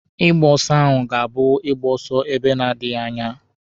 Ịgba ọsọ ahụ ga-abụ ịgba ọsọ ebe na-adịghi anya.